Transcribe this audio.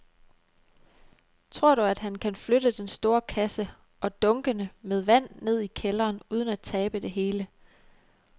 Tror du, at han kan flytte den store kasse og dunkene med vand ned i kælderen uden at tabe det hele?